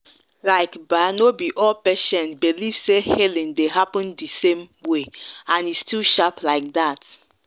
like ba no be all patients believe say healing dey happen the same way and e still sharp like that.